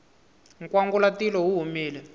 nkwangulatilo wu humile